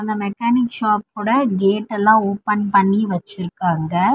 இந்த மெக்கானிக் ஷாப்போட கேட்டெல்லா ஓபன் பண்ணி வெச்சிருக்காங்க.